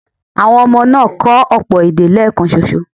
Àwọn ọmọ náà kọ́ ọ̀pọ̀ èdè léèkanṣo.